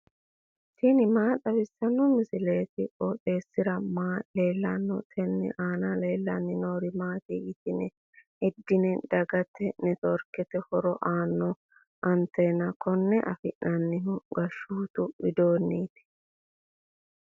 tini maa xawissanno misileeti? qooxeessisera may leellanno? tenne aana leellannori maati yitine heddinanni? dagate netiworkete horo aannoho anteenago konne afi'nannihu gashshootu widoonniiti.